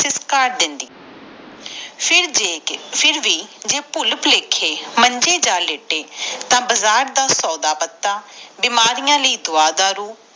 ਦਿੰਦੇ ਫੇਰ ਵਿਉ ਭੁੱਲ ਭੁਲੇਖੇ ਮੰਜੇ ਜਾ ਲੇਟੇ ਬਗੈਰ ਦਾ ਦਵਾ ਦਾਰੂ ਸੋਡਾ ਪਤਾ ਫਿਟਕਾਰ ਦੇਂਦੀ